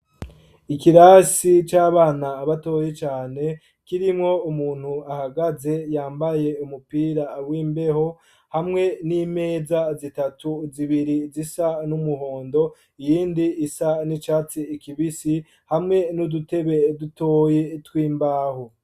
Ikirasi c'abana batoyi cane, kirimwo umuntu ahagaze yambaye umupira w'imbeho hamwe n'imeza zitatu zibiri zisa n'umuhondo iyindi isa n'icatsi kibisi hamwe n'udutebe dutoyi tw'imbaho.